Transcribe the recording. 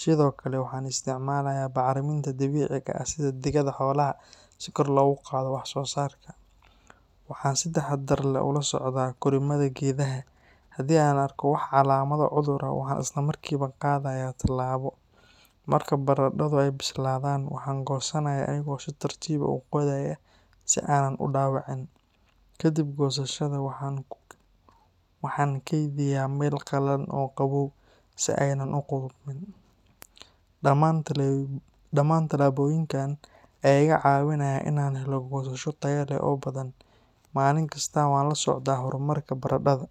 Sidoo kale, waxaan isticmaalayaa bacriminta dabiiciga ah sida digada xoolaha si kor loogu qaado wax soo saarka. Waxaan si taxadar leh ula socdaa korriimada geedaha, haddii aan arko wax calaamado cudur ah, waxaan isla markiiba qaadayaa tallaabo. Marka baradadhu ay bislaadaan, waxaan goosanayaa aniga oo si tartiib ah u qodaya si aanan u dhaawicin. Ka dib goosashada, waxaan ku kaydiyaa meel qalalan oo qabow si aanay u qudhmin. Dhammaan tallaabooyinkan ayaa iga caawinaya in aan helo goosasho tayo leh oo badan. Maalin kasta waan la socdaa horumarka baradadha.